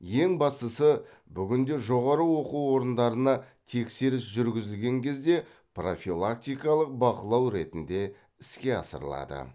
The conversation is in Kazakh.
ең бастысы бүгінде жоғары оқу орындарына тексеріс жүргізілген кезде профилактикалық бақылау ретінде іске асырылады